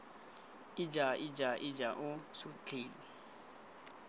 ija ija ija lo sutlhile